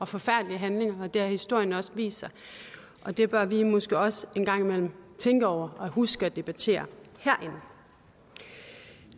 forfærdelige handlinger det har historien også vist og det bør vi måske også en gang imellem tænke over og huske at debattere herinde